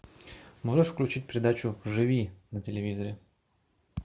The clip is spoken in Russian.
можешь включить передачу живи на телевизоре